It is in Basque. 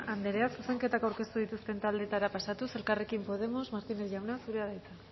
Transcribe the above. andrea zuzenketak aurkeztu dituzten taldetara pasatuz elkarrekin podemos martínez jauna zurea da hitza